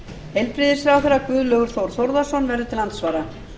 heilbrigðisráðherra guðlaugur þór þórðarson verður til andsvara